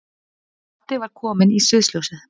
Baddi var kominn í sviðsljósið.